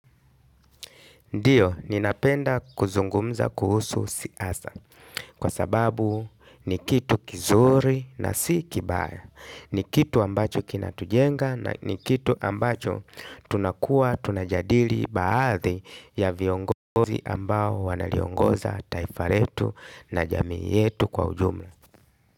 Ndiyo, ninapenda kuzungumza kuhusu siasa kwa sababu ni kitu kizuri na si kibaya. Ni kitu ambacho kina tujenga na ni kitu ambacho tunakuwa tunajadili baadhi ya viongozi ambao wanaliongoza taifa letu na jamii yetu kwa ujumla.